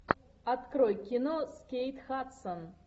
открой кино с кейт хадсон